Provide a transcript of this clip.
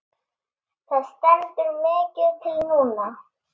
Það stendur mikið til núna.